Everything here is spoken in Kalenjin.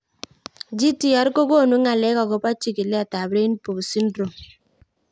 GTR ko konu ng'alek akopo chigilet ab Robinow syndrome